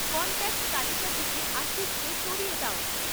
contact তালিকা থেকে আশিসকে সরিয়ে দাও